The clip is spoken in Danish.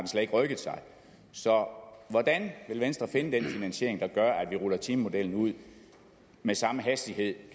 slet ikke rykket sig så hvordan vil venstre finde den finansiering der gør at vi ruller timemodellen ud med samme hastighed